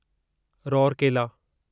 Rourkela